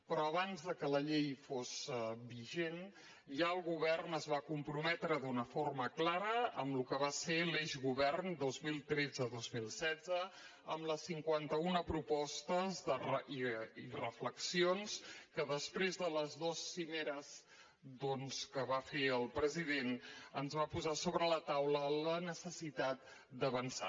però abans que la llei fos vigent ja el govern es va comprometre d’una forma clara amb el que va ser l’eix govern dos mil tretzedos mil setze amb les cinquantauna propostes i reflexions que després de les dues cimeres que va fer el president ens van posar sobre la taula la necessitat d’avançar